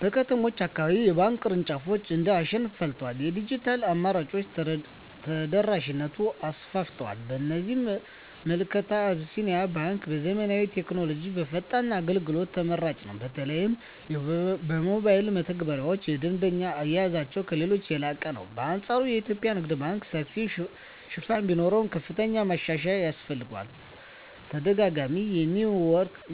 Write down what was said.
በከተሞች አካባቢ የባንክ ቅርንጫፎች እንደ አሸን ፈልተዋል፤ የዲጂታል አማራጮችም ተደራሽነቱን አሰፍተውታል። በእኔ ምልከታ አቢሲኒያ ባንክ በዘመናዊ ቴክኖሎጂና በፈጣን አገልግሎት ተመራጭ ነው። በተለይ የሞባይል መተግበሪያቸውና የደንበኛ አያያዛቸው ከሌሎች የላቀ ነው። በአንፃሩ የኢትዮጵያ ንግድ ባንክ ሰፊ ሽፋን ቢኖረውም፣ ከፍተኛ ማሻሻያ ያስፈልገዋል። ተደጋጋሚ